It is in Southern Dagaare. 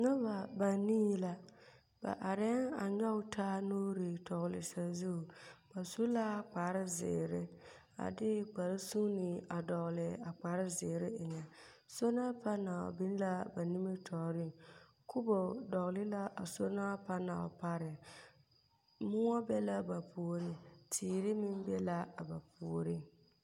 Noba banii la. Ba arԑԑŋ a nyͻe taa nuuri tͻgele sazu. Ba su la kpare zeere a de kpare sunni a dͻgele a kpare zeere eŋԑ. Soola panaal ba nimitͻͻreŋ. Kubo dͻgele la a soola panaal pareŋ. Mõͻ be la ba puoriŋ. Teere meŋ be la a ba puoriŋ.